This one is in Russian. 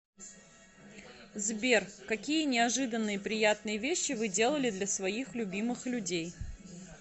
сбер какие неожиданные приятные вещи вы делали для своих любимых людей